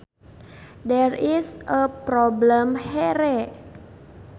There is a problem here